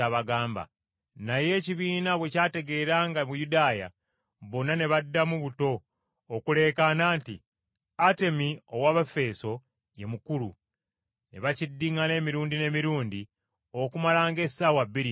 Naye ekibiina bwe kyategeera nga Muyudaaya, bonna ne baddamu buto okuleekaana nti, “Atemi ow’Abaefeeso ye Mukulu!” Ne bakiddiŋŋana emirundi n’emirundi okumala ng’essaawa bbiri nnamba.